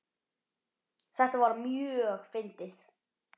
Þetta var mjög fyndið.